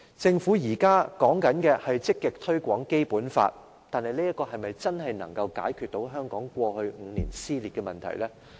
政府現時提倡積極推廣《基本法》，但這可否真正解決香港過去5年的撕裂問題呢？